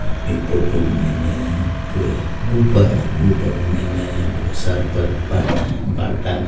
इ फोटो के माइन एक गुफा है गुफा के माइने बहुत सारा भाटा भाटा है।